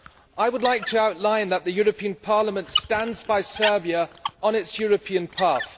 I would like to outline that the European Parliament stands by Serbia on its European path.